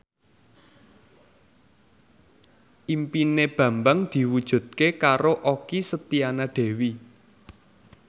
impine Bambang diwujudke karo Okky Setiana Dewi